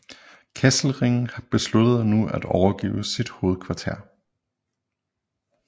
Kesselring besluttede nu at overgive sit hovedkvarter